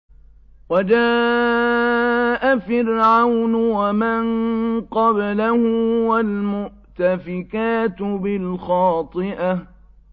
وَجَاءَ فِرْعَوْنُ وَمَن قَبْلَهُ وَالْمُؤْتَفِكَاتُ بِالْخَاطِئَةِ